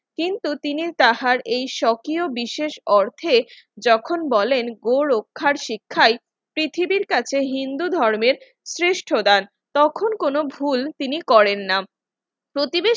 কিন্তু তিনি তাহার এই সক্রিয় বিশেষ অর্থে যখন বলেন গো রক্ষার শিক্ষায় পৃথিবীর কাছে হিন্দু ধর্মের শ্রেষ্ঠ দান তখন কোন ভুল তিনি করেন না প্রতিদিন